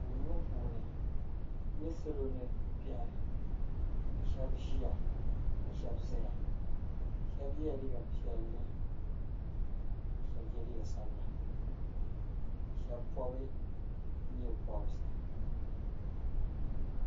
Anfooni ŋɔ puuni nyɛ salo ni bɛni shɛbi ziya ka shɛba zaya shɛba yiɛla liiga piɛlli ka shɛba yiɛ liiga sabila ka shɛba pɔbi nyɛɛ pɔbirisi.